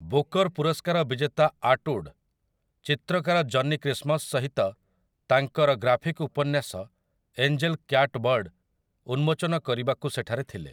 Booker ପୁରସ୍କାର ବିଜେତା Atwood, ଚିତ୍ରକାର ଜନି କ୍ରିସ୍ମସ୍ ସହିତ ତାଙ୍କର ଗ୍ରାଫିକ୍ ଉପନ୍ୟାସ 'ଏଞ୍ଜେଲ୍ କ୍ୟାଟ୍‌ବର୍ଡ଼' ଉନ୍ମୋଚନ କରିବାକୁ ସେଠାରେ ଥିଲେ ।